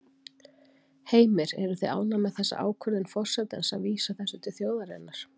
Heimir: Eruð þið ánægð með þessa ákvörðun forsetans að vísa þessu til þjóðarinnar?